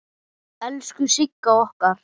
Elsku Sigga okkar!